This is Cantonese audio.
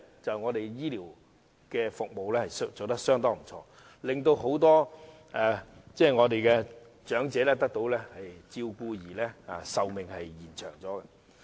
就是本港醫療服務做得相當不錯，令很多長者得到照顧因而延長壽命。